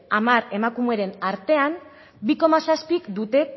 hamar emakumeren artea bi koma zazpik dute